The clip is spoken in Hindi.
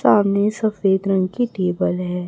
सामने सफेद रंग की टेबल है।